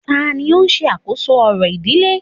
Tani o n se àkóso orò ìdílé